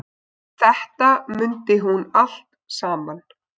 Þetta mundi hún allt saman.